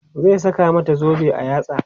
zai saka mata zobe a yatsa